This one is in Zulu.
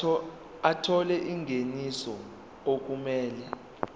ethola ingeniso okumele